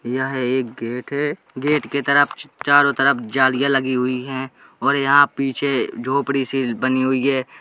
यह एक गेट है। गेट के तरप च् चारो तरप जालियां लगी हुईं हैं और यहाँ पीछे झोपड़ी सी बनी हुई है।